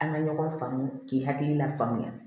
An ka ɲɔgɔn faamu k'i hakilina faamuya